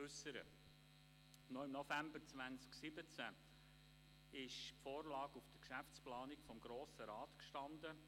Noch im November 2017 stand die Vorlage in der Geschäftsplanung des Grossen Rats.